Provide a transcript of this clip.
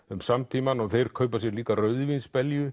um samtímann og þeir kaupa sér líka